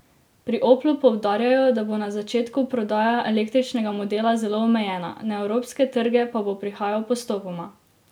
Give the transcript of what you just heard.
Pri Oplu poudarjajo, da bo na začetku prodaja električnega modela zelo omejena, na evropske trge pa bo prihajal postopoma.